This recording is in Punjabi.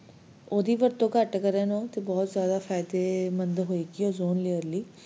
ਓਹਦੀ ਵਰਤੋਂ ਘਟ ਕਰਨ ਉਹ ਤਾ ਬਹੁਤ ਹੀ ਫਾਇਦੇਮੰਦ ਹੋਏਗੀ ozone layer ਲਈ